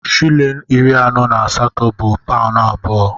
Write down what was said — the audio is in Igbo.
Shịlịn iri anọ na asatọ bụ paụnụ abụọ.